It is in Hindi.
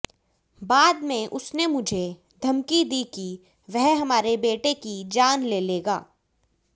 बाद में उसने मुझे धमकी दी कि वह हमारे बेटे की जान ले लेगा